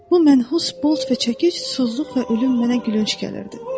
Bu mənhus bolt və çəkiç, tozluq və ölüm mənə gülünc gəlirdi.